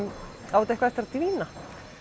á þetta eitthvað eftir að dvína